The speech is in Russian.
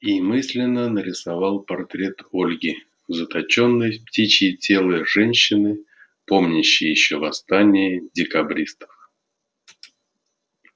и мысленно нарисовал портрет ольги заточенной в птичье тело женщины помнящей ещё восстание декабристов